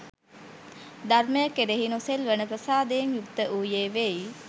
ධර්මය කෙරෙහි නොසෙල්වෙන ප්‍රසාදයෙන් යුක්ත වූයේ වෙයි.